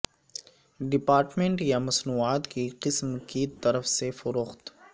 department یا مصنوعات کی قسم کی طرف سے فروخت